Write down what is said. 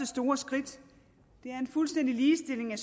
store skridt er en fuldstændig ligestilling